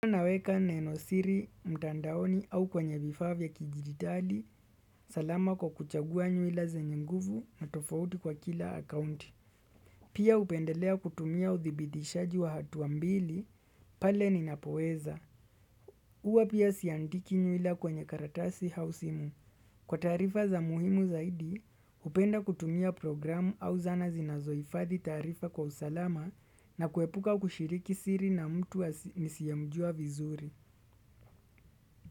Naweka nenosiri, mtandaoni au kwenye vifaa vya kidigitali, salama kwa kuchagua nywila zenye nguvu na tofauti kwa kila akaunti. Pia hupendelea kutumia uthibitishaji wa hatua mbili, pale ninapoweza. Huwa pia siandiki nywila kwenye karatasi au simu. Kwa taarifa za muhimu zaidi, hupenda kutumia programu au zana zinazohifadhi taarifa kwa usalama na kuepuka kushiriki siri na mtu nisiyemjua vizuri.